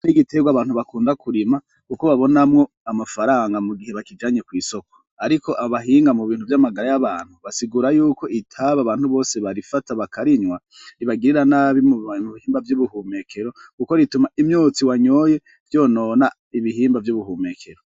Igitabi n'igiterwa abantu bakunda kurima kuko babonamwo amafaranga mu gihe bakijanye kw'isoko ariko abahinga mu bintu vy'amagara y'abantu basigura yuko itabi abantu bose barifata bakarinywa ribagirira nabi mu bihimba vy'ubuhumekero kuko rituma imyotsi wanyoye yonona ibihimba vy'ubuhumekero.